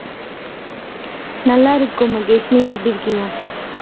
நல்லா இருக்கோம் மகேஷ் நீங்க எப்படி இருக்கீங்க?